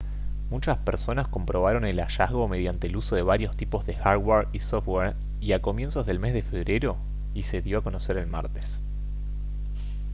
muchas personas comprobaron el hallazgo mediante el uso de varios tipos de hardware y software y a comienzos del mes de febrero y se dio a conocer el martes